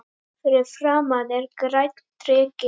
Fyrir framan er grænn dreki.